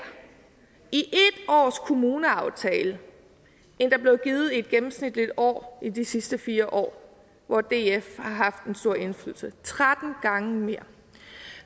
i ét års kommuneaftale end der blev givet i et gennemsnitligt år i de sidste fire år hvor df har haft en stor indflydelse tretten gange mere